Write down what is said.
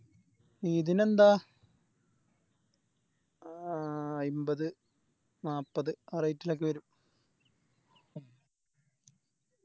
ഇതിനെന്താ ആ അമ്പത് നാപ്പത് ആ Rate ലോക്കെ വെരും